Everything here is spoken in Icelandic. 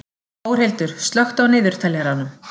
Þórhildur, slökktu á niðurteljaranum.